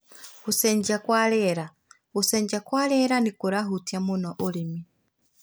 Gũcenjia kwa rĩera: Gũcenjia kwa rĩera nĩ kũrahutia mũno ũrĩmi.